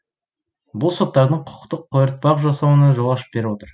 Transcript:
бұл соттардың құқықтық қойыртпақ жасауына жол ашып беріп отыр